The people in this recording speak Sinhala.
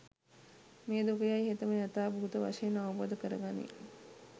මේ දුක යැයි හෙතෙම යථාභූත වශයෙන් අවබෝධ කරගනියි